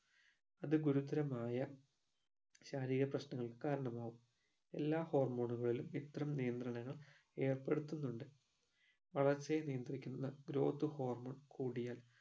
അത് ഗുരുതരമായ ശാരീരിക പ്രശ്നങ്ങൾക് കാരണമാകും എല്ലാ hormone ഉകളിലും ഇത്തരം നിയന്ത്രണങ്ങൾ ഏർപെടുത്തുന്നുണ്ട് വളർച്ചയെ നിയന്ത്രിക്കുന്ന growth hormone കൂടിയാൽ